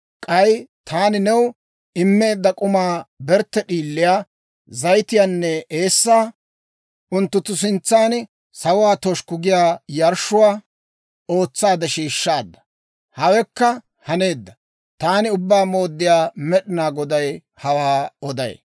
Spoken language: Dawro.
K'ay taani new immeedda k'umaa, bertte d'iiliyaa, zayitiyaanne eessaa unttunttu sintsan sawuwaa toshukku giyaa yarshshuwaa ootsaade shiishshaadda. Hawekka haneedda. Taani Ubbaa Mooddiyaa Med'inaa Goday hawaa oday.